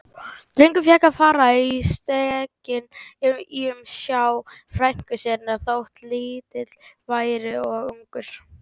Drengur fékk að fara á stekkinn í umsjá frænku sinnar, þótt lítill væri og ungur.